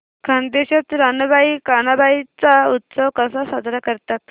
खानदेशात रानबाई कानबाई चा उत्सव कसा साजरा करतात